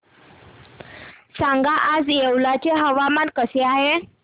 सांगा आज येवला चे हवामान कसे आहे